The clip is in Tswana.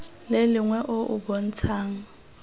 le lengwe o o bontshang